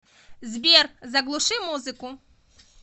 сбер заглуши музыку